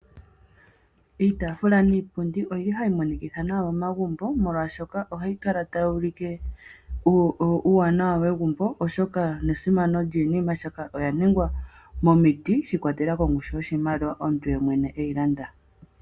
Iitafula niipundi oyi li hayi monikitha nawa momagumbo, molwaashoka ohayi kala tayi ulike uuwanawa wegumbo oshoka nesimano lyiinima oshoka oya ningwa momiti sha i kwatelela kongushu yoshimaliwa omuntu yemwene e yi landa.